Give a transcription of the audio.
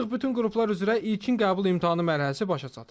Artıq bütün qruplar üzrə ilkin qəbul imtahanı mərhələsi başa çatıb.